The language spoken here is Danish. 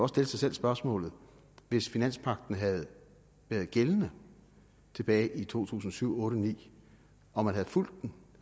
stille sig selv spørgsmålet hvis finanspagten havde været gældende tilbage i to tusind og syv og ni og man havde fulgt den